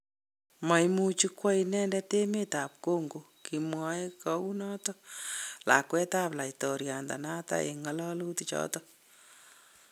" Mamuch kwo inendet emetab Congo. "Kimwaa gounoton lakwet ab laitoriandonoton en ngololutichoton.